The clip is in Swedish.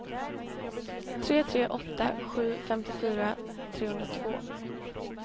tre tre åtta sju femtiofyra trehundratvå